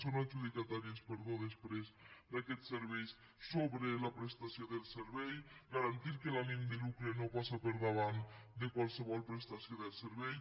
són adjudicatàries perdó després d’aquest servei sobre la prestació del servei garantir que l’ànim de lucre no passa per davant de qualsevol prestació del servei